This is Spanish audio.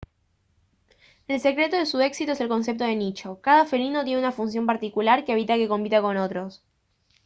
el secreto de su éxito es el concepto de nicho cada felino tiene una función particular que evita que compita con otros